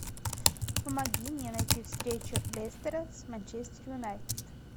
помоги мне найти встречу лестера с манчестер юнайтед